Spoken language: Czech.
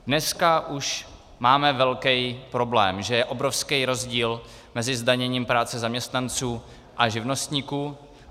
Dneska už máme velký problém, že je obrovský rozdíl mezi zdaněním práce zaměstnanců a živnostníků.